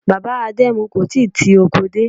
Bàbá Adẹmu kò tíì ti oko dé.